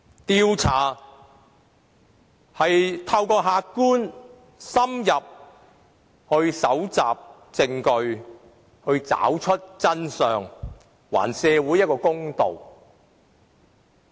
調查是透過客觀而深入地搜集證據，找出真相，還社會一個公道。